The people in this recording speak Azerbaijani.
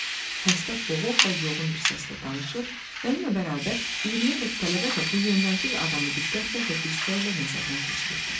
Xəstə boğuq və yoğun bir səslə danışır, mənimlə bərabər 20-yədək tələbə də bu yöndəmsiz adamı diqqətlə və qüssə ilə nəzərdən keçirirdi.